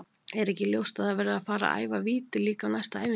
Er ekki ljóst að það verður að fara að æfa víti líka á næstu æfingum?